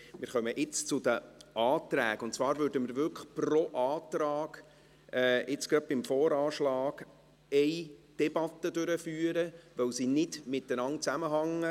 Wir kommen jetzt zu den Anträgen, und zwar werden wir pro Antrag eine Debatte führen, weil die Anträge nicht miteinander zusammenhängen.